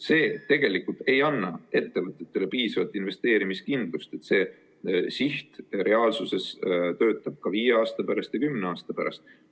See tegelikult ei anna ettevõtetele piisavalt investeerimiskindlust, et see siht reaalsuses töötab ka viie aasta pärast ja kümne aasta pärast.